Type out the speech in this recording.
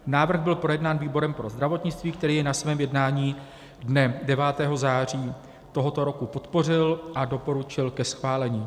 Návrh byl projednán výborem pro zdravotnictví, který jej na svém jednání dne 9. září tohoto roku podpořil a doporučil ke schválení.